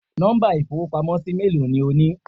Nọ́mbà ìfowópamósí méèló ni o ní